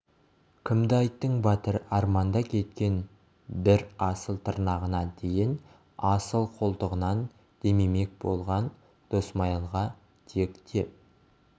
кімді айттың батыр арманда кеткен бір асыл тырнағына дейін асыл қолтығынан демемек болған досмайылға тек деп